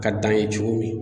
A ka d'an ye cogo min